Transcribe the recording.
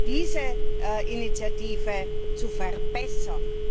diese Initiative zu verbessern.